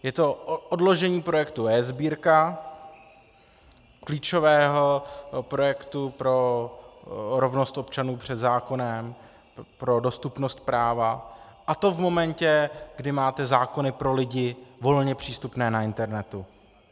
Je to odložení projektu eSbírka, klíčového projektu pro rovnost občanů před zákonem, pro dostupnost práva, a to v momentě, kdy máme zákony pro lidi volně přístupné na internetu.